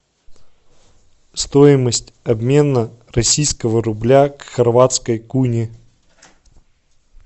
стоимость обмена российского рубля к хорватской куне